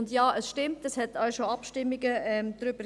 Und ja, es stimmt, es gab auch schon Abstimmungen darüber.